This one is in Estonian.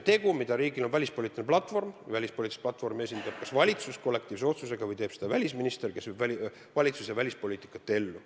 Aga samas on riigil välispoliitiline platvorm, mida riigi esindajad esindavad – kas valitsus kollektiivse otsusega või teeb seda välisminister, kes viib valitsuse välispoliitikat ellu.